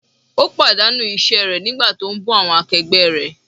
Ó pàdánù iṣẹ́ rẹ̀ nígbà tí ó ń bú awọn akẹgbẹ́ rẹ̀.